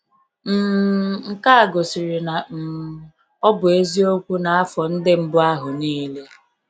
um Nke a gosiri na um ọ bụ eziokwu n’afọ ndị mbụ ahụ niile.